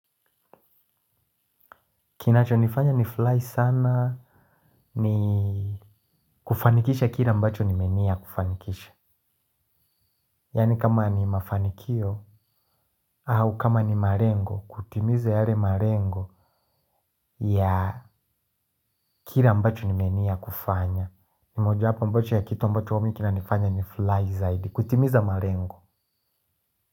Kinacho nifanya ni fly sana ni kufanikisha kila mbacho nime nia kufanikisha. Yani kama ni mafanikio au kama ni malengo kutimiza yale malengo ya kila ambacho nime nia kufanya. Ni moja wapo mbacho ya kitu ambacho mi kina nifanya ni fly zaidi kutimiza malengo.